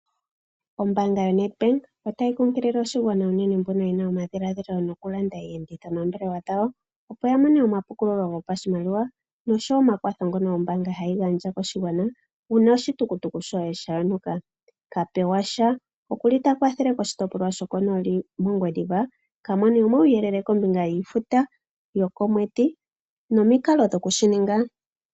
Ombaanga yoNedbank otayi kunkilile oshigwana unene mbono ye na omadhiladhilo gokulanda iiyenditho nombaanga yawo, opo ya mone omapukululo gopashimaliwa noshowo omakwatho ngono ombaanga hayi gandja koshigwana uuna oshitukutuku shoye sha yonuka. Kapewasha oku li ta kwathele moshitopolwa shokonooli mOngwediva. Ka mone uuyelele kombinga yiifuta yokomwedhi noshowo omikalo dhokushi ninga.